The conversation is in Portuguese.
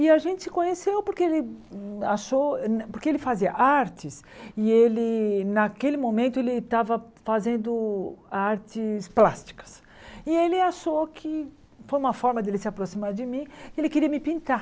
E a gente se conheceu porque ele achou, porque ele fazia artes e ele naquele momento ele estava fazendo artes plásticas e ele achou que foi uma forma dele se aproximar de mim, ele queria me pintar.